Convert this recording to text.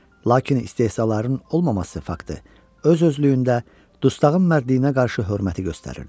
Lakin istehzaların olmaması faktı öz-özlüyündə dustağın mərdliyinə qarşı hörməti göstərirdi.